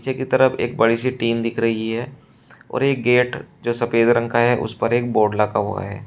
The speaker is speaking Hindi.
से के तरफ एक बड़ी सी टीन दिख रही है और एक गेट जो सफेद रंग का है उस पर एक बोर्ड लगा हुआ है।